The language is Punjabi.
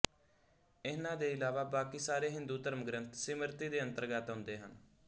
ਇਨ੍ਹਾਂ ਦੇ ਇਲਾਵਾ ਬਾਕੀ ਸਾਰੇ ਹਿੰਦੂ ਧਰਮਗਰੰਥ ਸਿਮਰਤੀ ਦੇ ਅੰਤਰਗਤ ਆਉਂਦੇ ਹਨ